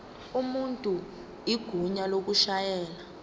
umuntu igunya lokushayela